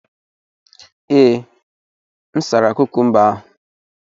Ee, m sara kukumba ahụ.